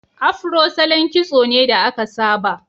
Afro salon kitso ne da aka saba.